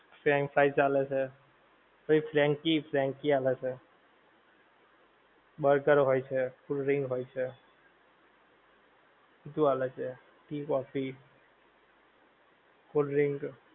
French fries આલે છે, પછી ફ્રેન્કી ફ્રેન્કી આલે છે, બર્ગર હોય છે, cold drink હોય છે, બધુ આલે છે tea કોફી, cold drink.